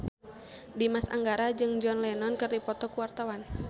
Dimas Anggara jeung John Lennon keur dipoto ku wartawan